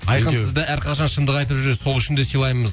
айқын сізді әрқашан шындық айтып жүресіз сол үшін де сыйлаймыз